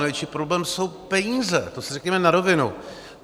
Největší problém jsou peníze, to si řekněme na rovinu.